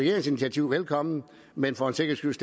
initiativ velkommen men for en sikkerheds